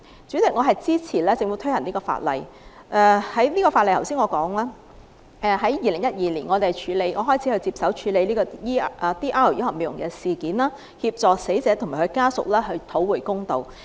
主席，我支持政府推行相關法例修訂，正如我剛才所說，在2012年，我開始接手處理 DR 醫學美容集團毒血針事件，協助死者和死者家屬討回公道。